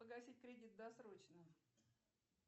погасить кредит досрочно